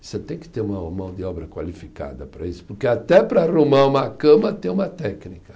Você tem que ter uma mão de obra qualificada para isso, porque até para arrumar uma cama tem uma técnica.